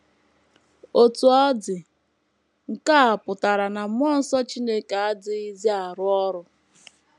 Otú ọ dị, nke a ọ̀ pụtara na mmụọ nsọ Chineke adịghịzi arụ ọrụ?